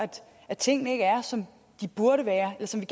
tingene ikke er som de burde være eller som vi